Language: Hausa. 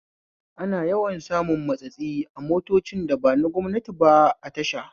Ana yawan samun matsatsi a motocin da ba na gwamnati ba a tasha